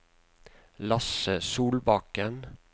Lasse Solbakken